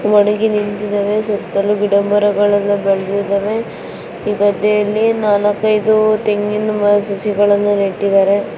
ಸುತ್ತಲೂ ಗಿಡ ಮರಗಳು ಬೆಳೆದಿವೆ ಈ ಗದ್ದೆಯಲ್ಲಿ ನಾಲ್ಕ್ ಐದು ತಂಗಿನ ಸಸಿಗಳನು ನೆಟ್ಟಿದರೆ.